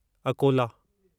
Akola